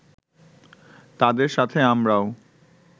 তাদের সাথে আমরাও